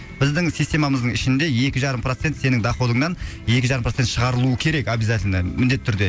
біздің системамыздың ішінде екі жарым процент сенің доходыңнан екі жарым процент шығарылуы керек обьязательно міндетті түрде